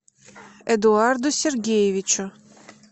эдуарду сергеевичу